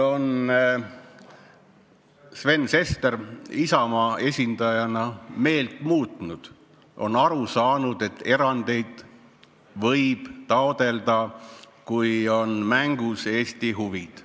Sven Sester Isamaa esindajana on nüüdseks meelt muutnud, on aru saanud, et erandeid võib taotleda, kui on mängus Eesti huvid.